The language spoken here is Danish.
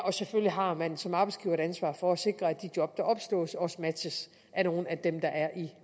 og selvfølgelig har man som arbejdsgiver et ansvar for at sikre at de job der opslås også matches af nogle af dem der er i